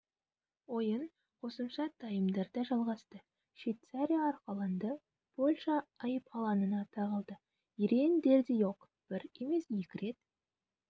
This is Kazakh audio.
ойын қосымша таймдарда жалғасты швейцария арқаланды польша айып алаңына тығылды ерен дердийок бір емес екі рет